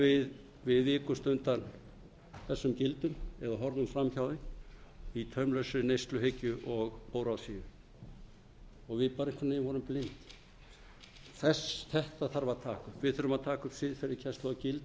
við vikumst undan þessum gildum eða horfðum fram hjá þeim í taumlausri neysluhyggju og óráðsíu við vorum einhvern veginn blind þetta þarf að taka við þurfum að taka upp siðferðiskennslu og gildakennslu